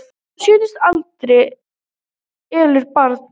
Kona á sjötugsaldri elur barn